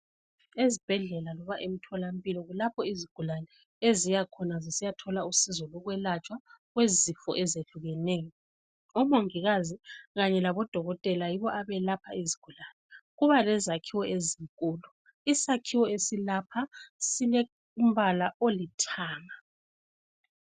Ezibhedlela loba emtholampilo kulapho izigulani eziyakhona zisiya thola usizo lo kwelatshwa kwezifo ezehlukeneyo, omangikazi kanye labo dokotela yibo abelapha izigulani, kuba lezakhiwo ezinkulu, isakhiwo esilapha silombala olithanga.